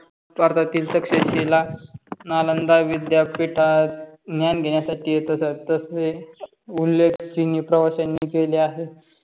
भारतातील success जिल्हा नालंदा विद्यापीठात ज्ञान घेण्यासाठी येत असतं. तसेच उल्लेख चिनी प्रवाशांनी केले आहे.